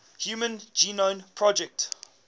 human genome project